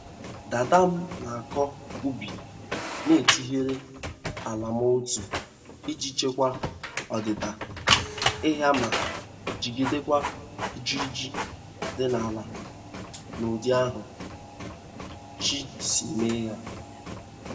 Dada m na-akọ ubi na-etirighị ala ma otu iji chekwa ọdịdị aịa ma jigidekwa ijiriji di n'ala n'ụdị ahụ Chi si mee ya.